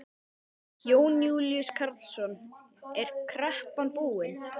Jón Júlíus Karlsson: Er kreppan búin?